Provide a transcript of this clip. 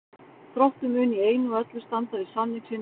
Þróttur mun í einu og öllu standa við samning sinn við Pál.